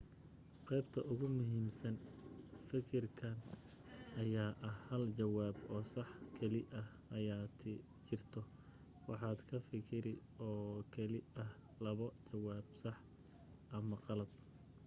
qeybta ugu muhiimsan fakirkan ayaa ah hal jawaab oo sax keli ah aya jirto waxaad ka fakiri oo keli ah labo jawaab sax ama qalad